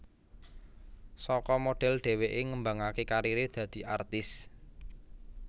Saka modhel dheweké ngembangaké kariré dadi artis